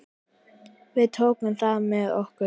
Við tökum það með okkur.